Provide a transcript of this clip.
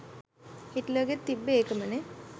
හිට්ලර්ගෙත් තිබ්බෙ ඒකමනෙ